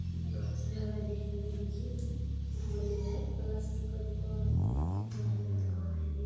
कितना अच्छा लग रहा है देखने में देखिये बढ़िया है प्लास्टिक का दुकान है कितना बढ़िया दुकान है देख सक----